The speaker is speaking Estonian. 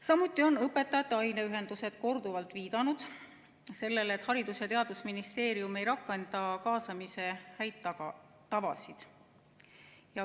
Samuti on õpetajate aineühendused korduvalt viidanud sellele, et Haridus- ja Teadusministeerium ei rakenda kaasamise häid tavasid.